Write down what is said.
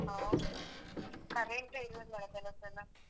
ಹೌದು current ಎ ಇರಲ್ವಲ್ಲ ಕೆಲವ್ಸಲ.